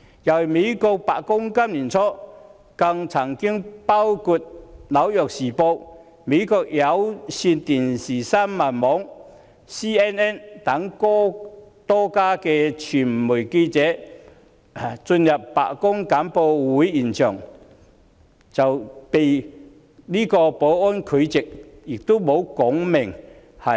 今年年初，美國白宮曾禁止多家媒體，包括《紐約時報》、美國有線電視新聞網的記者進入白宮簡報會現場，但也沒有說